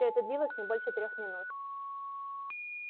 всё это длилось не больше трёх минут